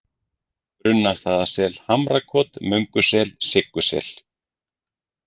Brunnastaðasel, Hamrakot, Möngusel, Siggusel